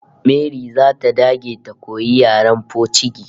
Mary zata dage ta koyi yaren pocigi